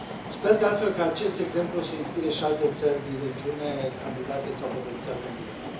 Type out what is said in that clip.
Sper, de altfel, că acest exemplu să inspire și alte țări din regiune, candidate sau potențial candidate.